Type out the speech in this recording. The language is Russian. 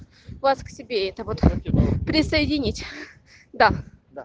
у вас к себе это вот присоединить да да